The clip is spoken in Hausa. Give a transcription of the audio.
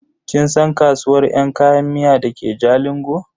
Kin san kasuwar yan kayan miya dake jalingo?